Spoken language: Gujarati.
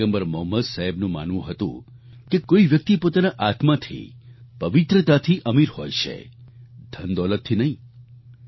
પયગમ્બર મોહમ્મદ સાહેબનું માનવું હતું કે કોઈ વ્યક્તિ પોતાના આત્માથી પવિત્રતાથી અમીર હોય છે ધનદોલતથી નહીં